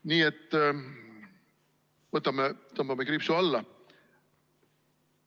Nii et tõmbame kriipsu alla.